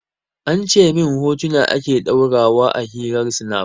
An ce min hotuna ake ɗora wa a hirar snap